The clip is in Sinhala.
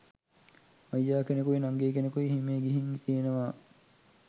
අයියා කෙනෙකුයි නංගි කෙනෙකුයි හිමේ ගිහිං තියනවා